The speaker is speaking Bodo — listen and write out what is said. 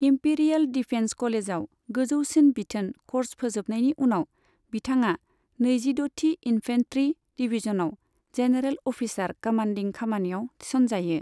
इम्पीरियेल डिफेन्स कलेजआव गोजौसिन बिथोन क'र्स फोजोबनायनि उनाव, बिथाङा नैजिद'थि इन्फेन्ट्री डिभिजनआव जेनेरेल अफिसार कमान्डिं खामानियाव थिसनजायो।